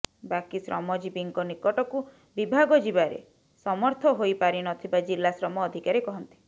ବାକି ଶ୍ରମଜୀବିଙ୍କ ନିକଟକୁ ବିଭାଗ ଯିବାରେ ସମର୍ଥ ହୋଇପାରିନଥିବା ଜିଲା ଶ୍ରମ ଅଧିକାରୀ କହନ୍ତି